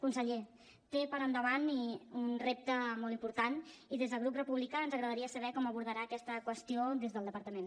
conseller té per endavant un repte molt important i des del grup republicà ens agradaria saber com abordarà aquesta qüestió des del departament